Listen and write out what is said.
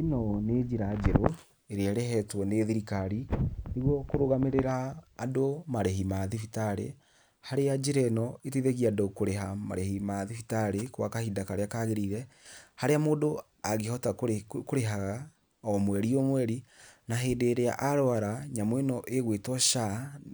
Īno nī njīra njeru īrīa īrehetwo nī thirikari nīguo kurugamīrīra andu marīhi ma thibitarī harīa njīra īno īteithagia andu kurīha marīhi ma thibitarī gwa kahinda karīa kagīrīire, harīa mundu angīhota kurīhaga o mweri o mweri, na hīndī īrīa aruara nyamu īno īgwītwo SHA